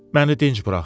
Məni dinc burax.